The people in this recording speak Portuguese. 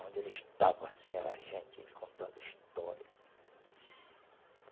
Onde ele estava, assim, era gente contando história.